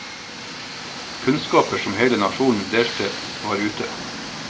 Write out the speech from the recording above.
Kunnskaper som hele nasjonen delte, var ute.